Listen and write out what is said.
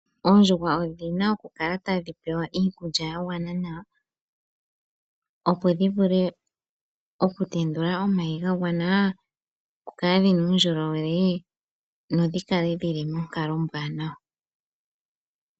Oondjuhwa odhi na okukala tadhi pewa iikulya ya gwana nawa. Opo dhi vule okutendula omayi ga gwana, dhi kale dhi na uundjolowele dho dhi kale dhi li monkalo ombwaanawa.